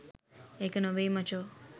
ඒක නෙවෙයි මචෝ